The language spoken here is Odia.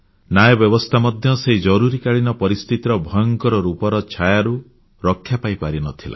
ନ୍ୟାୟ ବ୍ୟବସ୍ଥା ମଧ୍ୟ ସେହି ଜରୁରୀକାଳୀନ ପରିସ୍ଥିତିର ଭୟଙ୍କର ରୂପର ଛାୟାରୁ ରକ୍ଷା ପାଇପାରି ନଥିଲା